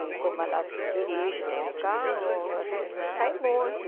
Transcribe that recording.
E como ela dirige, tem um carro, a gente sai muito.